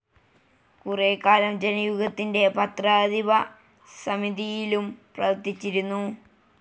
കുറേക്കാലം ജനയുഗത്തിൻ്റെ പത്രാധിപ സമിതിയിലും പ്രവർത്തിച്ചിരുന്നു.